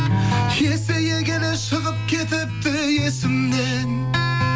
есейе келе шығып кетіпті есімнен